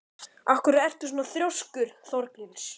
Af hverju ertu svona þrjóskur, Þorgils?